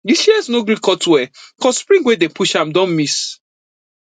di shears no gree cut well cause spring wey dey push am don miss